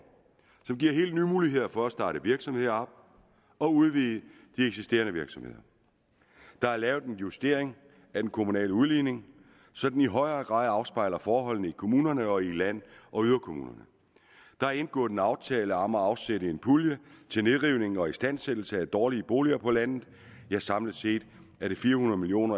som giver helt nye muligheder for at starte virksomheder og udvide de eksisterende virksomheder der er lavet en justering af den kommunale udligning så den i højere grad afspejler forholdene i kommunerne og i land og yderkommunerne der er indgået en aftale om at afsætte en pulje til nedrivning og istandsættelse af dårlige boliger på landet samlet set er det fire hundrede million